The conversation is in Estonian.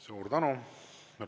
Suur tänu!